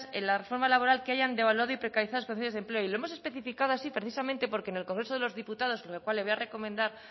en la reforma laboral que hayan devaluado y precarizado las condiciones de empleo y lo hemos especificado así precisamente porque en el congreso de los diputados sobre el cual le voy a recomendar